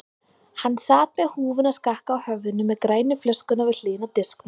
Hann sat með húfuna skakka á höfðinu með grænu flöskuna við hliðina á disknum.